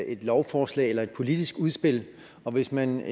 et lovforslag eller et politisk udspil og hvis man